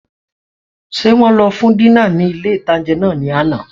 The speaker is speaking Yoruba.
Ṣé wọn lọ fún dínà ní ilé-ìtánjẹ náà ní àná?